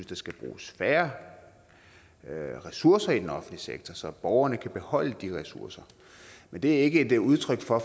der skal bruges færre ressourcer i den offentlige sektor så borgerne kan beholde de ressourcer men det er ikke et udtryk for at